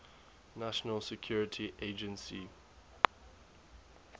national security agency